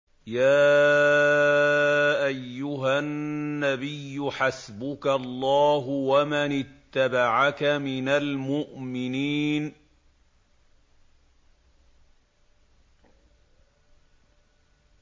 يَا أَيُّهَا النَّبِيُّ حَسْبُكَ اللَّهُ وَمَنِ اتَّبَعَكَ مِنَ الْمُؤْمِنِينَ